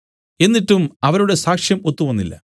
എന്നിട്ടും അവരുടെ സാക്ഷ്യം ഒത്തുവന്നില്ല